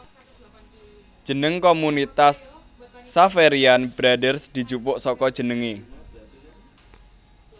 Jeneng komunitas Xaverian Brothers dijupuk saka jenengé